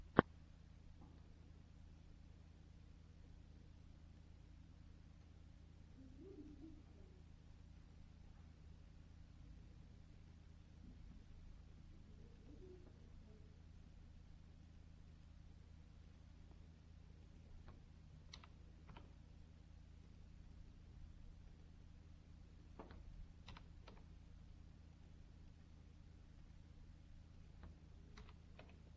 в ютюбе выступления